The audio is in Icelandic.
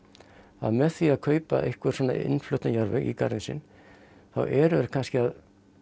að með því að kaupa einhvern svona innfluttan jarðveg í garðinn sinn þá eru þeir kannski að